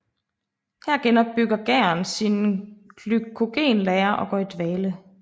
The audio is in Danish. Her genopbygger gæren sine glykogenlagre og går i dvale